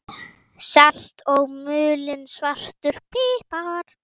Salt og mulinn svartur pipar